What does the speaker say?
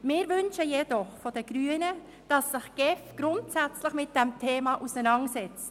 Wir Grünen wünschen uns jedoch, dass sich die GEF grundsätzlich mit diesem Thema auseinandersetzt.